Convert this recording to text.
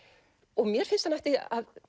og mér finnst hann ætti